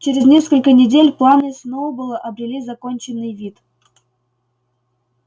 через несколько недель планы сноуболла обрели законченный вид